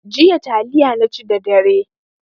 Jiya taliya naci da dare.